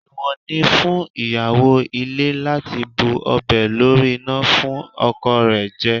Èèwọ̀ ni fún ìyàwó ilé láti bu ọbẹ̀ lórí iná fún ọkọ rẹ̀ jẹ